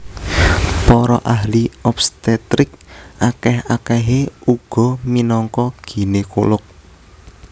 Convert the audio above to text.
Para ahli obstetrik akèh akèhé uga minangka ginekolog